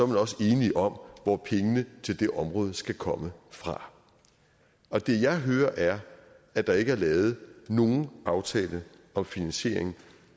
man også enige om hvor pengene til det område skal komme fra og det jeg hører er at der ikke er lavet nogen aftale om finansiering